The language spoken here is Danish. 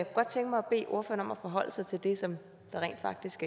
godt tænke mig at bede ordføreren om at forholde sig til det som rent faktisk